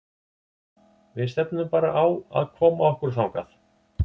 Við stefnum bara á að koma okkur þangað.